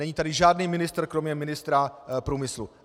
Není tady žádný ministr kromě ministra průmyslu!